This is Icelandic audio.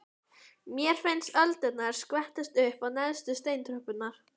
Mér finnst öldurnar skvettast upp á neðstu steintröppurnar.